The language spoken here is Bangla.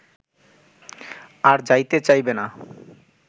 আর যাইতে চাহিবে না